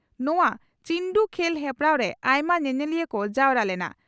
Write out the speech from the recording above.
ᱱᱚᱣᱟ ᱪᱤᱱᱰᱩ ᱠᱷᱮᱞ ᱦᱮᱯᱨᱟᱣ ᱨᱮ ᱟᱭᱢᱟ ᱧᱮᱧᱮᱞᱤᱭᱟᱹ ᱠᱚ ᱡᱟᱣᱨᱟ ᱞᱮᱱᱟ ᱾